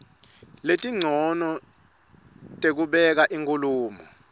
letincono tekubeka inkhulumo